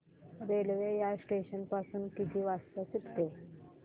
railway या station पासून किती वाजता सुटते